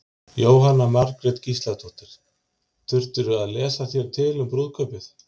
Jóhanna Margrét Gísladóttir: Þurftirðu að lesa þér til um brúðkaupið?